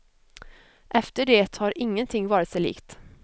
Efter det har ingenting varit sig likt.